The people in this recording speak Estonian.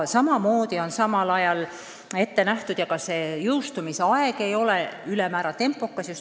Ka ei ole seaduse jõustumise tähtaeg väga lühike.